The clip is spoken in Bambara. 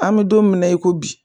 An me don min na i ko bi